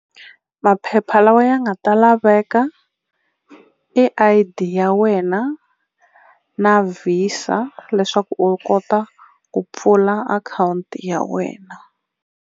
Maphepha lawa ya nga ta laveka I_D ya wena na Visa leswaku u kota ku pfula akhawunti ya wena.